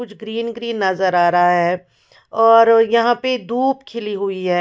कुछ green green नजर आ रहा है और यहाँ पे धूप खिली हुई है।